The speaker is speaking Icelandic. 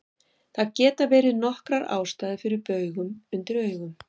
Það geta verið nokkrar ástæður fyrir baugum undir augum.